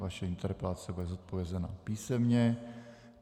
Vaše interpelace bude zodpovězena písemně.